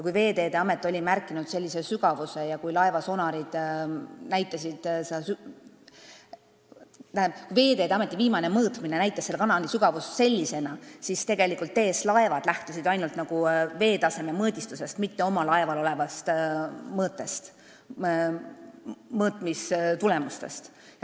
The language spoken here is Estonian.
Kui Veeteede Ameti viimane mõõtmine näitas selle kanali sügavust sellisena, siis TS Laevad lähtusid ainult veetaseme mõõtmise tulemustest, mitte oma laeval olevate mõõteriistade näitudest.